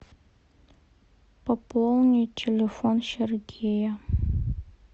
пополнить телефон сергея